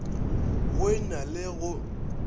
go e na le go